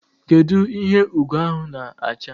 Kedu ihe Ugo ahụ na-acha?